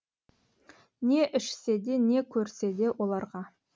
не ішсе де не көрсе де оларға